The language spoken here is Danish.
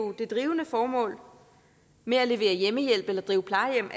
det drivende formål med at levere hjemmehjælp eller drive plejehjem